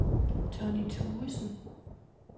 Tonny Thuesen